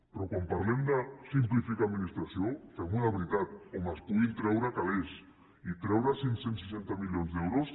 però quan parlem de simplificar administració fem ho de veritat on es puguin treure calés i treure cinc cents i seixanta milions d’euros